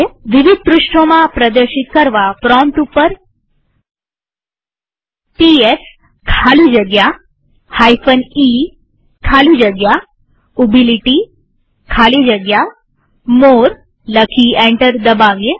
વિવિધ પૃષ્ઠોમાં પ્રદર્શિત કરવા પ્રોમ્પ્ટ ઉપર ખાલી જગ્યા મોરે લખી એન્ટર દબાવીએ